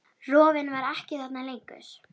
Rofinn var ekki þarna lengur.